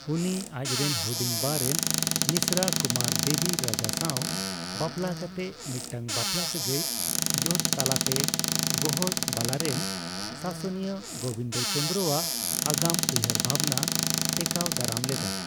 ᱩᱱᱤ ᱟᱡᱨᱮᱱ ᱦᱩᱰᱤᱧ ᱵᱟᱨᱮᱱ ᱢᱤᱥᱨᱟ ᱠᱩᱢᱟᱨᱫᱮᱵᱤ ᱨᱟᱡᱟ ᱥᱟᱣ ᱵᱟᱯᱞᱟ ᱠᱟᱛᱮ ᱢᱤᱫᱴᱟᱝ ᱵᱟᱯᱞᱟ ᱥᱟᱹᱜᱟᱹᱭ ᱡᱳᱴ ᱛᱟᱞᱟᱛᱮ ᱜᱚᱦᱚᱲᱵᱟᱞᱟᱨᱮᱱ ᱥᱟᱥᱱᱤᱭᱟ ᱜᱳᱵᱤᱱᱫᱪᱚᱱᱫᱨᱚ ᱟᱜ ᱟᱜᱟᱢ ᱩᱭᱦᱟᱹᱨ ᱵᱷᱟᱵᱚᱱᱟ ᱴᱮᱠᱟᱣ ᱫᱟᱨᱟᱢ ᱞᱮᱫᱟ᱾